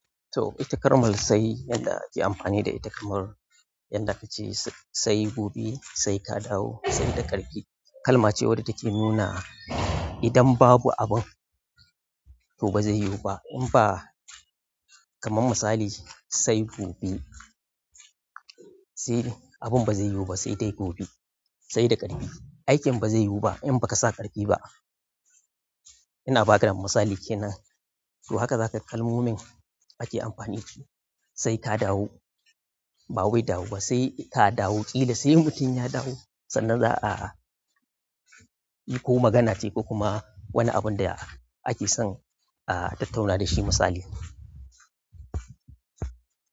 So itakar mal sai yadda ake amfani da ita kamar, yanda ka ce sai gobe, sai ka dawo, sai da karki. Kalma ce wadda take nuna idan babu abin to ba zai yiwu ba. In ba kamar misali sai gobe, sai abin ba zai yiwu ba sai dai gobe. Sai da ƙarfi, aikin ba zai yiwu ba in ba ka sa ƙarfi ba. Ina ba ka misali kenan. To haka za ka kalmomin ake amfani da su. Sai ka dawo, ba wai dawo ba, sai ka dawo ƙila sai mutum ya dawo. Sannan za a yi ko magana ce ko kuma wani abin da ake son a tattauna da shi misali.